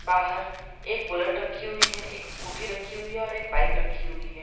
बाहर एक बुलेट रखी हुई है एक स्कूटी रखी हुई है और एक बाइक रखी हुई है।